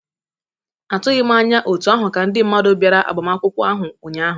Atụghị m anya otú ahụ ka ndị mmadụ bịara agbamakwụkwọ ahụ ụnyaahụ.